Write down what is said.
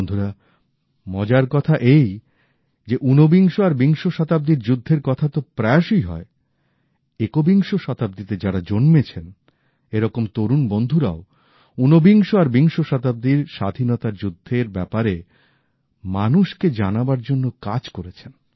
বন্ধুরা মজার কথা এই যে উনবিংশ আর বিংশ শতাব্দীর যুদ্ধের কথা তো প্রায়শই হয় একবিংশ শতাব্দীতে যারা জন্মেছেন এরকম তরুন বন্ধুরাও উনবিংশ আর বিংশ শতাব্দীর স্বাধীনতার যুদ্ধের ব্যাপারে মানুষকে জানাবার জন্য কাজ করেছেন